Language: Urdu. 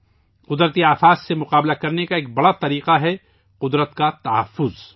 قدرتی آفات سے نمٹنے کا ایک بہترین طریقہ ہے فطرت کا تحفظ